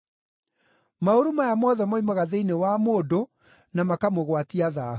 Maũru maya mothe moimaga thĩinĩ wa mũndũ na makamũgwatia thaahu.”